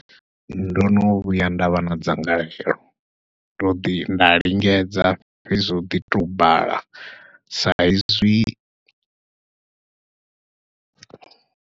Ndo no vhuya nda vha na dzangalelo, ndo ḓi nda lingedza fhedzi zwo ḓi to bala sa izwi.